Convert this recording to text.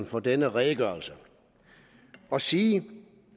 for denne redegørelse og sige